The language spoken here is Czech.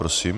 Prosím.